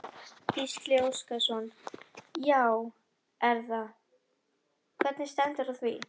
Gísli Óskarsson: Já er það, hvernig stendur á því?